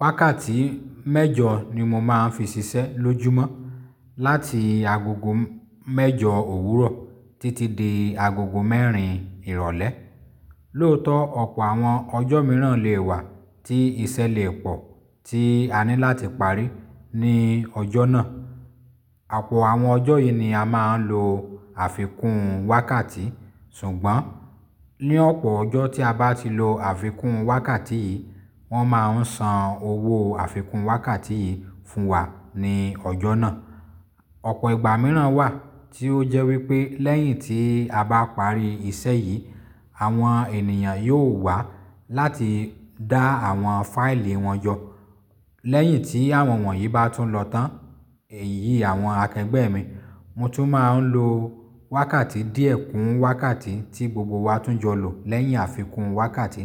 Wákàtí mẹ́jọ ni mo máa ń fi ṣiṣẹ́ lójúmọ́, láti agogo mẹ́jọ òwúrọ̀ títí di agogo mẹ́rin ìrọ̀lẹ́. Lóòótọ́ ọ̀pọ̀ àwọn ọjọ́ mìíràn lè wà tí iṣẹ́ lè pọ̀ tí a ní láti parí ní ọjọ́ náà. Àpọ̀ àwọn ọjọ́ yìí ni a máa ń lo àfikún wákàtí. Ṣùgbọ́n ní ọ̀pọ̀ ọjọ́ tí a bá ti lo àfikún wákàtí yìí, wọ́n máa ń san owó àfikún wákàtí yìí fún wa ní ọjọ́ náà. Ọ̀pọ̀ ìgbà mìíràn wà tí ó jẹ́ wípé lẹ́yìn tí a bá parí iṣẹ́ yìí, àwọn ènìyàn yóò wá láti dá àwọn fáìlì wọn yọ. Lẹ́yìn tí àwọn wọ̀nyí bá tún lọ tán, èyí àwọn akẹgbẹ́ mi, mo tún máa ń lo wákàtí díẹ̀ kún wákàtí tí gbogbo wa tún jọ lò lẹ́yìn àfikún wákàtí